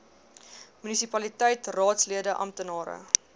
munisipaliteit raadslede amptenare